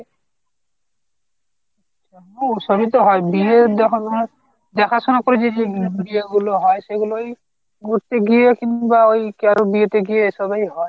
সবই তো হয় বিয়ে যখন দেখাশোনা করে যেগুলো বিয়ে গুলো হয়। সেগুলোই ঘুরতে গিয়ে কিন্তু বা ওই কারোর বিয়ে তে গিয়ে ওই সবই হয়।